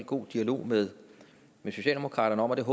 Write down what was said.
god dialog med socialdemokratiet